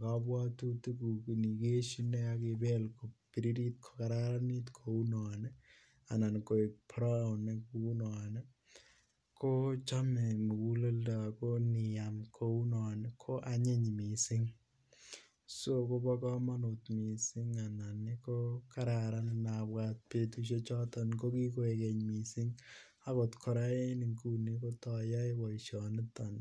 kapwatutik kukeishim akibel kopiririt kokararanit kounon anan ko brown Kunon ko chome muguleldo Ako iam kounon koanyiny mising so Kobo komonut mising Ako kararan ngapuat petushe choten ko kikoek keny mising akot kora nguni kotoayae poishoniton